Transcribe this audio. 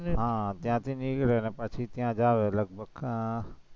હમ ત્યાંથી નીકળી અને પછી ત્યાં જાવ એટલે